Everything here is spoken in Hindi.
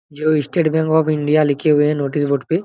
जो स्टेट बैंक ऑफ़ इंडिया लिखे हुए है नोटिस बोर्ड पे--